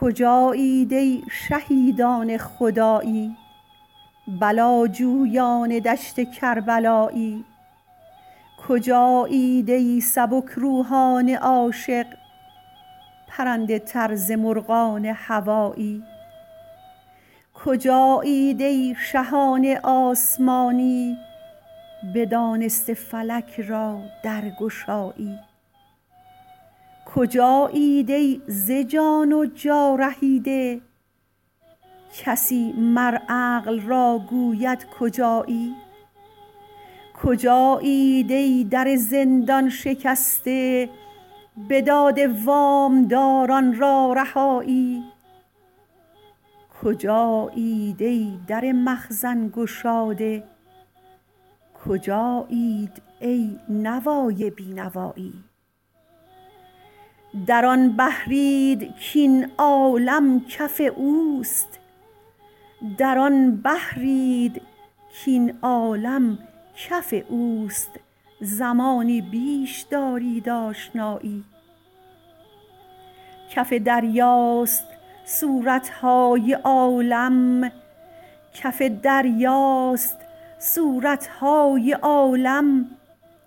کجایید ای شهیدان خدایی بلاجویان دشت کربلایی کجایید ای سبک روحان عاشق پرنده تر ز مرغان هوایی کجایید ای شهان آسمانی بدانسته فلک را درگشایی کجایید ای ز جان و جا رهیده کسی مر عقل را گوید کجایی کجایید ای در زندان شکسته بداده وام داران را رهایی کجایید ای در مخزن گشاده کجایید ای نوای بی نوایی در آن بحرید کاین عالم کف اوست زمانی بیش دارید آشنایی کف دریاست صورت های عالم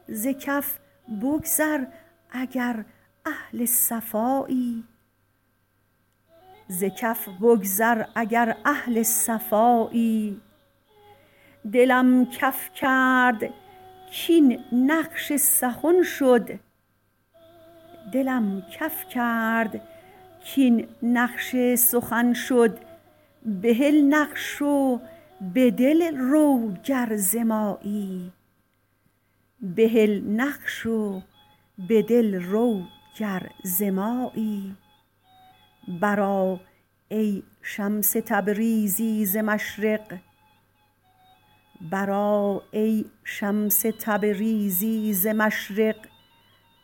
ز کف بگذر اگر اهل صفایی دلم کف کرد کاین نقش سخن شد بهل نقش و به دل رو گر ز مایی برآ ای شمس تبریزی ز مشرق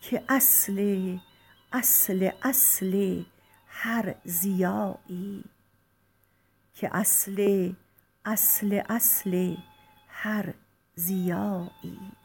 که اصل اصل اصل هر ضیایی